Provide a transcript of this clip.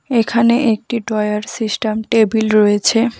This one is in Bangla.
এখানে একটি ড্রয়ার সিস্টাম টেবিল রয়েছে।